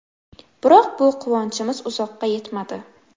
Biroq bu quvonchimiz uzoqqa yetmadi.